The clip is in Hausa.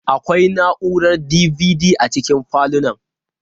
Akwai na'urar DVD a cikin falunan.